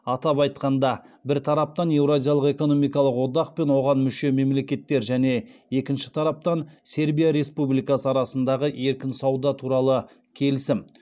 атап айтқанда бір тараптан еуразиялық экономикалық одақ пен оған мүше мемлекеттер және екінші тараптан сербия республикасы арасындағы еркін сауда туралы келісім